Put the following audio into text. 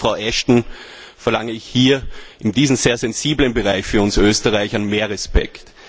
Von Ihnen, Frau Ashton, verlange ich hier in diesem sehr sensiblen Bereich für uns Österreicher mehr Respekt.